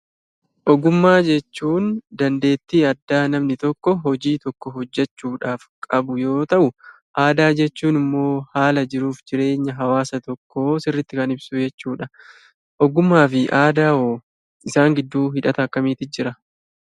Ogummaa jechuun dandeettii addaa namni tokko hojii tokko hojechuudhaaf qabu yoo ta'u, aadaa jechuun immoo haala jiruu fi jireenya hawaasa tokkoo sirriitti kan ibsu jechuudha .